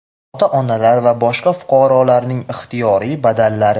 ota-onalar va boshqa fuqarolarning ixtiyoriy badallari;.